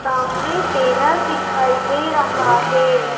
सामने बैनर दिखाई दे रहा है।